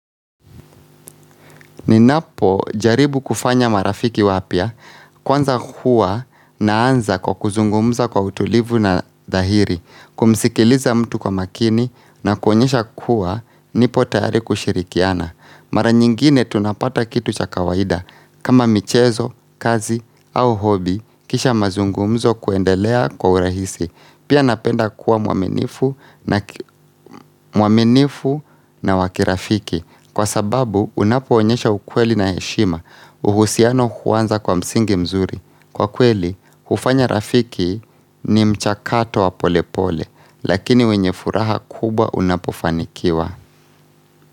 Ninapo jaribu kufanya marafiki wapya, kwanza huwa naanza kwa kuzungumza kwa utulivu na dhahiri, kumisikiliza mtu kwa makini na kuonyesha kuwa nipo tayari kushirikiana. Mara nyingine tunapata kitu cha kawaida, kama michezo, kazi au hobi, kisha mazungumzo kuendelea kwa urahisi. Pia napenda kuwa muaminifu na wa kirafiki kwa sababu unapoonyesha ukweli na heshima uhusiano huanza kwa msingi mzuri. Kwa kweli, kufanya rafiki ni mchakato wa polepole lakini wenye furaha kubwa unapofanikiwa.